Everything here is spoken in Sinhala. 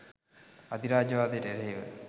අධිරාජ්‍යවාදයට එරෙහිව